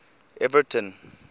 everton